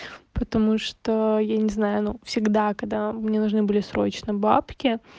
потому что я не знаю но всегда когда мне нужны были срочно бабки